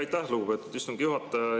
Aitäh, lugupeetud istungi juhataja!